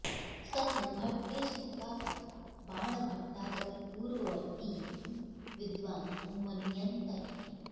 स तु भट्टेस्तु का कथा बाणभट्टादपि पूर्ववर्तीति विद्वांसो मन्यन्त इति